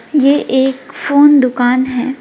ये एक फोन दुकान है।